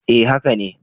Eh haka ne.